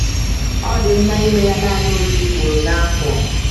Ọ dị mma ịme ya naanị otu ugboro n’afọ.